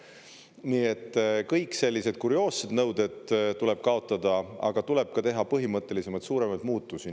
Nii et kõik sellised kurioossed nõuded tuleb kaotada, aga tuleb teha põhimõttelisemaid, suuremaid muutusi.